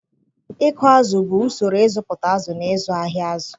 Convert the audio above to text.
Ịkụ azụ̀ bụ usoro ịzụpụta azụ̀ na ịzụ ahịa azụ̀.